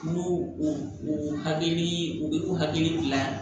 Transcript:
N'u y'o o hakilii u bɛ u hakili dilan